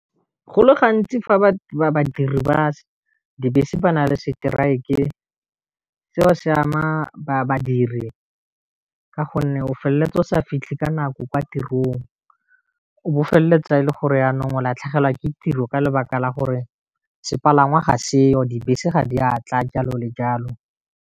Go le gantsi fa ba badiri ba dibese ba na le strike-e, seo se ama ba badiri ka gonne o feleletsa o sa fitlhe ka nako kwa tirong, o bo feleletsa e le gore yanong o latlhegelwa ke tiro ka lebaka la gore sepalangwa ga seo, dibese ga di a tla jalo le jalo.